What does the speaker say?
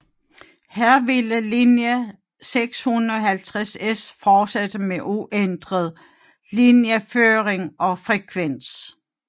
Her ville linje 650S fortsætte med uændret linjeføring og frekvens